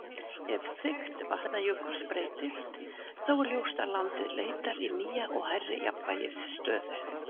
Ef þykkt Vatnajökuls breytist, þá er ljóst að landið leitar í nýja og hærri jafnvægisstöðu.